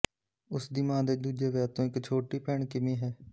ਉਸ ਦੀ ਮਾਂ ਦੇ ਦੂਜੇ ਵਿਆਹ ਤੋਂ ਇੱਕ ਛੋਟੀ ਭੈਣ ਕਿਮੀ ਹੈ